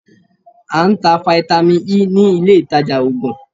A ń tá Fáítámì Ẹ nílé ìtajà Ògùn